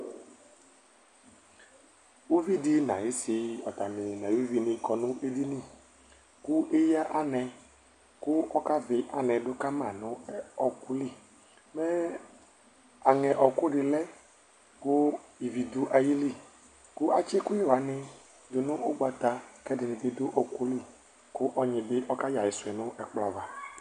Uvɩɖɩ nayɩsɩ atani nayuvɩnɩ kɔ nu eɖɩnɩ Ku eya anɛ ku ɔka vɩ anɛ ɖu kama nu ɔkulɩ, mɛ anɛ ɔku ɖɩ lɛku ɩvɩ ɖu ayɩlɩ Ku atsi ɛkuyɛ wani ɖu nu ugɓata kɛɖɩnɩ bɩ ɖuɔku lɩ, kɔnyi ɓɩ ɔkayɛ ayɩsuɛ nu ɛkplɔ ava